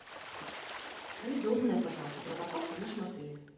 алиса узнай пожалуйста про парковку в нашем отеле